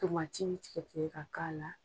Tomati bi tigɛ tigɛ ka k'a la.